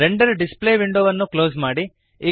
render display ವಿಂಡೋವನ್ನು close ಮಾಡಿರಿ